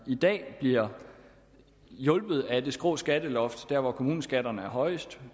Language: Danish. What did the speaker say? i dag bliver hjulpet af det skrå skatteloft der hvor kommuneskatterne er højest